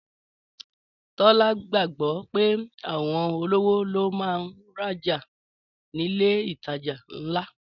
Tọ́lá gbàgbọ́ pé àwọn olówó ló máa ń rajà nílé ìtajà ńlá